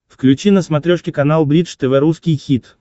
включи на смотрешке канал бридж тв русский хит